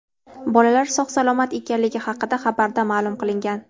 Bolalar sog‘-salomat ekanligi haqida xabarda ma’lum qilingan .